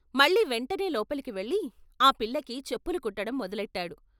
మళ్ళీ వెంటనే లోపలికి వెళ్ళి ఆ పిల్లకి చెప్పులు కుట్టడం మొద లెట్టాడు.